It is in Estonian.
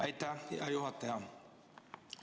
Aitäh, hea juhataja!